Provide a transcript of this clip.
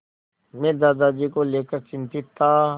मैं दादाजी को लेकर चिंतित था